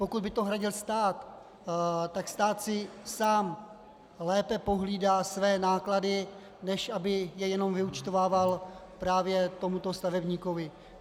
Pokud by to hradil stát, tak stát si sám lépe pohlídá své náklady, než aby je jenom vyúčtovával právě tomuto stavebníkovi.